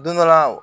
Don dɔ la